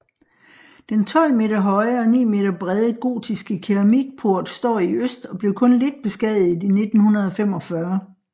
Den 12 meter høje og 9 meter brede gotiske keramikport står i øst og blev kun lidt beskadiget i 1945